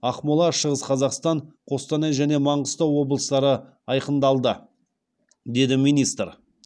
ақмола шығыс қазақстан қостанай және маңғыстау облыстары айқындалды деді министр